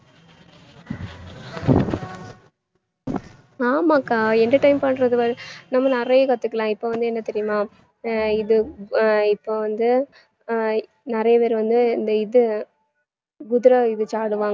ஆமாக்கா entertain பண்றது வந்~ நம்ம நிறைய கத்துக்கலாம் இப்ப வந்து என்ன தெரியுமா ஆஹ் இது ஆஹ் இப்ப வந்து ஆஹ் நிறைய பேர் வந்து இந்த இது